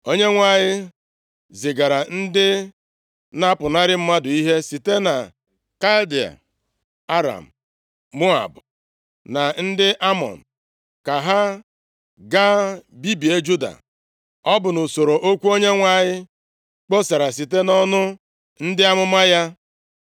Onyenwe anyị zigara ndị na-apụnara mmadụ ihe site na Kaldịa, Aram, Moab na ndị Amọn, ka ha ga bibie Juda. Ọ bụ nʼusoro okwu Onyenwe anyị kpọsara site nʼọnụ ndị amụma ya.